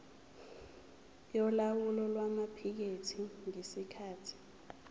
yolawulo lwamaphikethi ngesikhathi